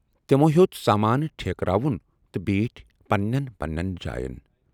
تِمو ہیوت سامانہٕ ٹھیٖکراوُن تہٕ بیٖٹھ پنٕنٮ۪ن پنٕنٮ۪ن جایَن۔